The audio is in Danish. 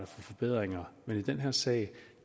forbedringer men i den her sag